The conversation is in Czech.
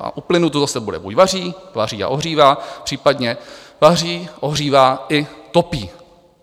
A u plynu to zase bude: buď vaří, vaří a ohřívá, případně vaří, ohřívá i topí.